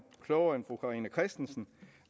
klogere end fru carina christensen